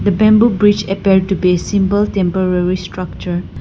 The bamboo bridge appear to be a simple temporary structure.